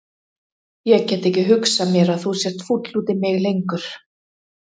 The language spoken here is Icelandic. Ég get ekki hugsað mér að þú sért fúll út í mig lengur.